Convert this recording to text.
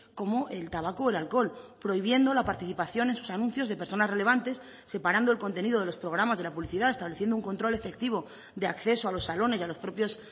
como el tabaco o el alcohol prohibiendo la participación en sus anuncios de personas relevantes separando el contenido de los programas de la publicidad estableciendo un control efectivo de acceso a los salones y a los propios